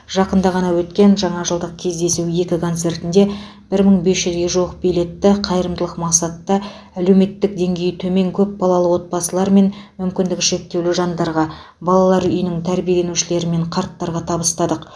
жақында ғана өткен жаңа жылдық кездесу екі концертінде бір мың бес жүз жуық билетті қайырымдылық мақсатта әлеуметтік деңгейі төмен көпбалалы отбасылар мен мүмкіндігі шектеулі жандарға балалар үйінің тәрбиеленушілері мен қарттарға табыстадық